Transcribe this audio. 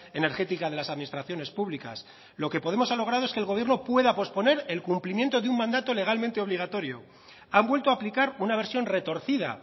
energética de las administraciones públicas lo que podemos ha logrado es que el gobierno pueda posponer el cumplimiento de un mandato legalmente obligatorio han vuelto a aplicar una versión retorcida